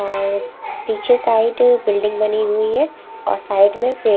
और पीछे side building बनी हुई है और साइड में --